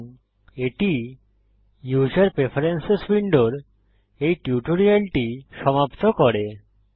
এবং এটি user preferences উইন্ডোর এই টিউটোরিয়ালটি সমাপ্ত করে